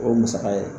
O ye musaka ye